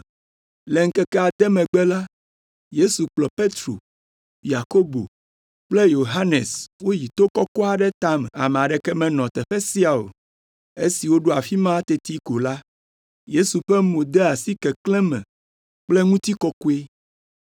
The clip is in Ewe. Le ŋkeke ade megbe la, Yesu kplɔ Petro, Yakobo kple Yohanes woyi to kɔkɔ aɖe tame. Ame aɖeke menɔ teƒe sia o. Esi woɖo afi ma teti ko la, Yesu ƒe mo de asi keklẽ me kple ŋutikɔkɔe,